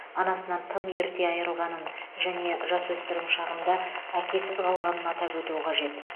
анасынан тым ерте айырылғанын және жасөспірім шағында әкесіз қалғанын атап өту қажет